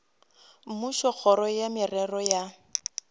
mmušo kgoro ya merero ya